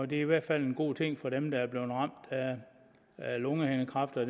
det er i hvert fald en god ting for dem der er blevet ramt af lungehindekræft og